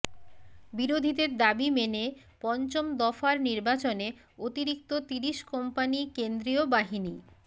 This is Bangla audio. বিরোধীদের দাবি মেনে পঞ্চম দফার নির্বাচনে অতিরিক্ত তিরিশ কোম্পানি কেন্দ্রীয় বাহিনী